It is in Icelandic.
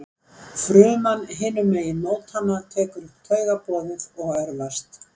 Fruman hinum megin mótanna tekur upp taugaboðefnið og örvast.